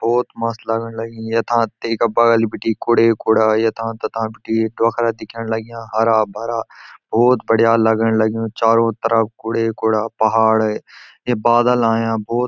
भौत मस्त लगण लग्युं यथां तेका बगल बिटी कुढ़े कूढ़ा यथा तथा बिटी डौखरा दिखेंण लग्याँ हरा भरा भौत बढ़िया लगण लग्युं चारों तरफ कुढ़े कूढ़ा पहाड़ है ये बादल अयां भौत।